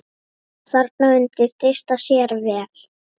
Þarna undi Dysta sér vel.